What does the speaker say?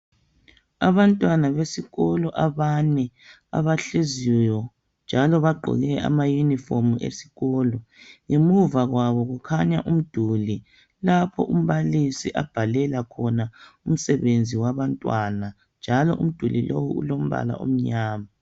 Abantwana besikolo abanye abahleziyo njalo bagqoke impahla zesikolo ngemuva kwabo kukhanya umduli lapho umbalisi abhalela khona umsebenzi wabantwana njalo umduli lowu umnyama